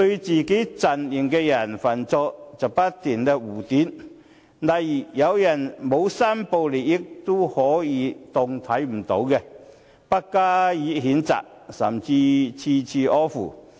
自己陣營的人犯錯，他們便不斷護短，例如有人沒有申報利益，也可視而不見，不加譴責，甚至處處呵護。